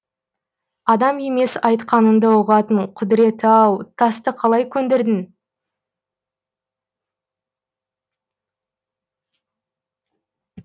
адам емес айтқаныңды ұғатын құдіреті ау тасты қалай көндірдің